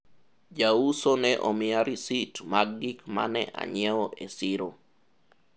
ja uso ne omiya risit mag gik mane anyiewo e siro